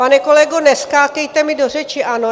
Pane kolego, neskákejte mi do řeči, ano?